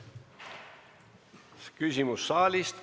Küsimus saalist.